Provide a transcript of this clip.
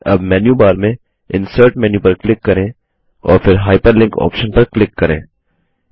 अब मेन्यूबार में insert menu पर क्लिक करें और फिर हाइपरलिंक ऑप्शन पर क्लिक करें